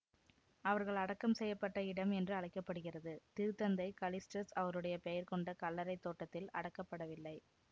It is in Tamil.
அவர்கள் அடக்கம் செய்ய பட்ட இடம் என்று அழைக்க படுகிறது திருத்தந்தை கலிஸ்டஸ் அவருடைய பெயர்கொண்ட கல்லறை தோட்டத்தில் அடக்கப்படவில்லை